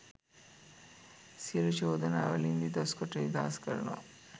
සියලූ චෝදනා වලින් නිදොස් කොට නිදහස් කරනවා